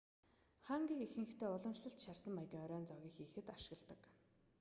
хангийг ихэнхдээ уламжлалт шарсан маягийн оройн зоогийг хийхэд ашигладаг